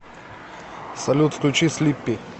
салют включи слиппи